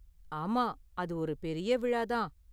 ஆமா, அது ஒரு பெரிய விழா தான்.